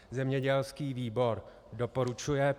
Zemědělský výbor doporučuje